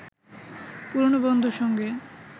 পুরনো বন্ধুর সঙ্গে